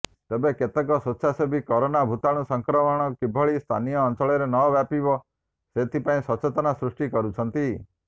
ତେବେ କେତେକ ସ୍ବେଚ୍ଛାସେବୀ କରୋନା ଭୂତାଣୁ ସଂକ୍ରମଣ କିଭଳି ସ୍ଥାନୀୟ ଅଞ୍ଚଳରେ ନ ବ୍ୟାପିବ ସେଥିପାଇଁ ସଚେତନତା ସୃଷ୍ଟି କରୁଛନ୍ତି